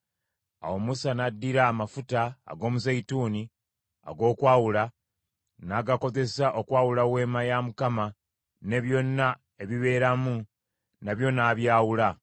Awo Musa n’addira amafuta ag’omuzeeyituuni ag’okwawula, n’agakozesa okwawula Weema ya Mukama , ne byonna ebibeeramu nabyo n’abyawula.